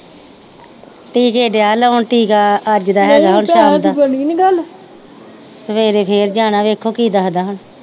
ਟੀਕੇ ਦਿਆ ਲਾਉਣ ਟੀਕਾ ਅੱਜ ਦਾ ਹੇਗਾ ਸਵੇਰੇ ਫਿਰ ਜਾਣਾ ਵੇਖੋ ਕੀ ਦਸਦਾ ਹੁਣ।